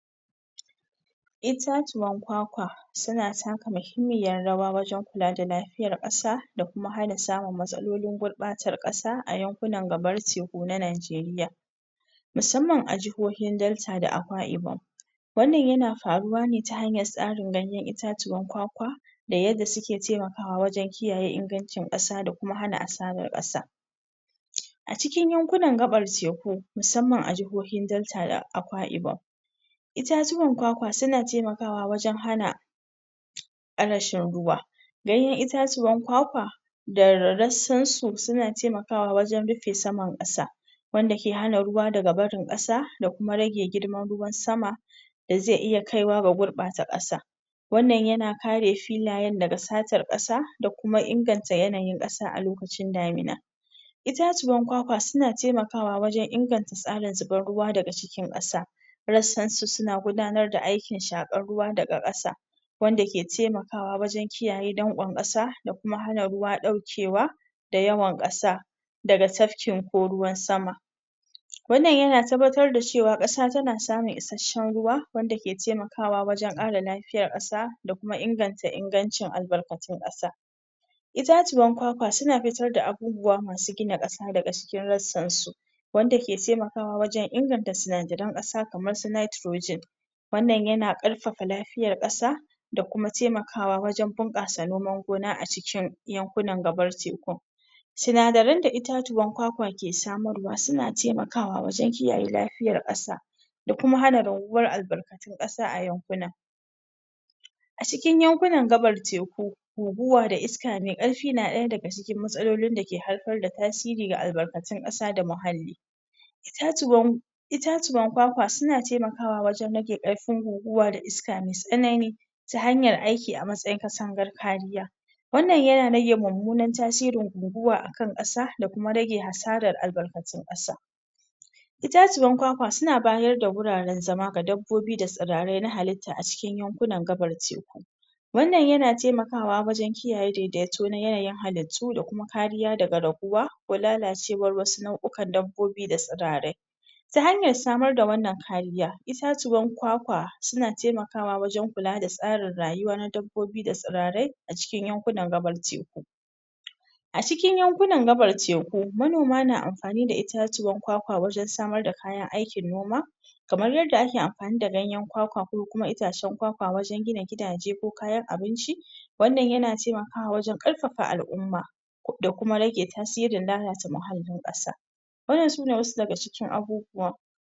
ita tuwan ƙwaƙwa suna taka muhimmiyar rawa wajan kula da lafiyar ƙasa da kuma hana samun matsalolin gurɓatar ƙasa a yankunan gabar teku na najeriya musamman a jahohin delter da akwaibom wannan yana faruw ne ta hanyar tsarin ganyan itatuwan ƙwaƙwa da yanda suke taimakawa wajan kiyaye ingancin kasa da kuma hana asarar ƙasa a cikin yankunan gaɓar teku musamman a jahohin delter da akwaibom itatuwan ƙwaƙwa suna taimakawa wajan hana rashin ruwa ganyan itatuwan ƙwaƙwa da rassansu suna taimakawa wajan rufe saman ƙasa wanda ke hana ruwa daga barin ƙasa da kuma rage girman ruwan sama da zai iya kaiwa ga gurɓata ƙasa wannan yana kare filayan daga satar ƙasa da kuma inganta yanayin ƙasa a lokacin damina ita tuwan ƙwaƙwa suna taimakawa wajan inganta tsarin zubar ruwa daga cikin ƙasa rassansu suna gudanar da aiki shaƙar ruwa daga ƙasa wanda ke taimakawa wajan kiyaye ɗankon ƙasa da kuam hana ruwa ɗaukewa daga yawan ƙasa daga tafkin ko ruwan sama wannan yana na tabbatar da cewa ƙasa tana samun ishasshan ruwa ke taimakawa wajan lafiyar ƙasa da kuma inganta ingancin albarkatun ƙasa itatuwan ƙwaƙwa suna fitar da abubuwa masu gina ƙasa daga cikin rassansu wanda ke taimakawa wajan inganta sinadaran ƙasa kamarsu netrogen wannan yana karfafa lafiyar ƙasa da kuma taimakawa wajan bunƙasa noman gona a cikin yankunan gabar tekun sinadaran da itatuwan ƙwaƙwa ke samarwa suna taimakawa wajan kiyaye lafiyar ƙasa da kuma han raguwar albarkatun ƙasa a yankunan a cikin yankunan gaɓar teku guguwa da iska me karfi na ɗaya daga cikin matsalolin dake haifar da tasiri ga albarkatun ƙasa da muhalli itatuwan ƙwaƙwa suna taimakawa wajan rage karfin guguwa da iska me tsanani ta hanyar aiki a matsayin ƙasan garfadiya wannan yana rage mummunan tasirin guguwa a kan ƙasa da kuma rage hasarar albarkatun ƙasa itatuwan ƙwaƙwa suna bayar da guraran zama ga dabbobi da tsirai na halitta a cikin yankunan gabar teku wannan yana taimakawa wajan kiyaye daidai to na yanayin halittu da kuma kariya daga raguwa ko lalacewar wasu nau'ikan dabbobi da tsirarai ta hanyar samar da wannan kariya itatuwan ƙwaƙwa suna taimakawa wajan kula da tsarin rayuwa na dabbobi da tsirarai yankunan gabar teku a cikin yankunan gabar teku manoma na amfani da itatuwan ƙwaƙwa wajan samar da aikin noma kamar yanda ake amfani da ganyan ƙwaƙwa ko kuma itacan ƙwaƙwa wajan gina gidaje ko abinci wannan yana taimakawa wajan karfafa al'umma da kuma rage tasirin lalata muhallin ƙasa wannan sune wasu daga cikin abubuwa